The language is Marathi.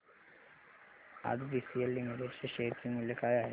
आज बीसीएल लिमिटेड च्या शेअर चे मूल्य काय आहे